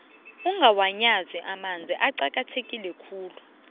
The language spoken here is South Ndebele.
ungawanyazi amanzi aqakatheke khulu